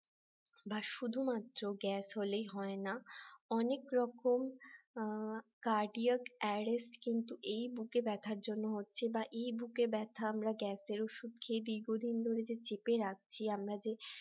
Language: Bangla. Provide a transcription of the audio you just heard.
বা শুধুমাত্র গ্যাস হলেই হয় না অনেক রকম cardiac arrest এই বুকে ব্যথার জন্য হচ্ছে বা বুকে ব্যথা আমরা গ্যাসের খেয়ে নিই দীর্ঘদিন ধরে যে চেপে রাখছি এই আমরা যে